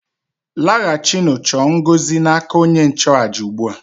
Laghachinụ chọọ ngọzi n' aka onye nchụàjà ugbu a!